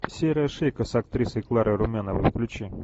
серая шейка с актрисой кларой румяновой включи